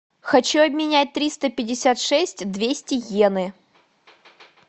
хочу обменять триста пятьдесят шесть двести иены